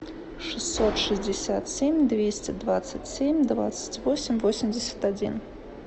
шестьсот шестьдесят семь двести двадцать семь двадцать восемь восемьдесят один